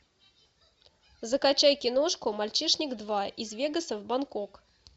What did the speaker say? закачай киношку мальчишник два из вегаса в бангкок